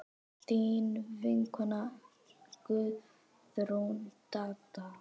Þín vinkona Guðrún Dadda.